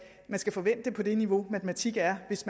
skal forvente at det niveau i matematik det er hvis